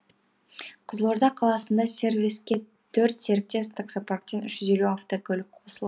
қызылорда қаласында сервиске төрт серіктес таксопарктен үш жүз елу автокөлік қосылған